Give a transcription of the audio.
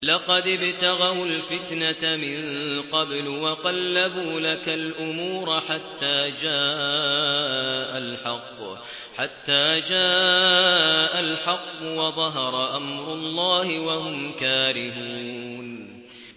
لَقَدِ ابْتَغَوُا الْفِتْنَةَ مِن قَبْلُ وَقَلَّبُوا لَكَ الْأُمُورَ حَتَّىٰ جَاءَ الْحَقُّ وَظَهَرَ أَمْرُ اللَّهِ وَهُمْ كَارِهُونَ